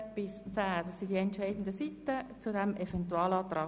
Das sind die entscheidenden Seiten zu diesem Eventualantrag.